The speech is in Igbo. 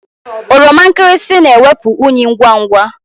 Oroma nkịrịsị na-ewepụ unyị ngwa ngwa.